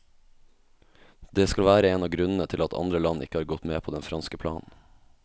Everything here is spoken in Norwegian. Det skal være en av grunnene til at andre land ikke har gått med på den franske planen.